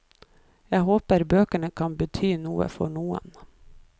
Jeg håper bøkene kan bety noe for noen.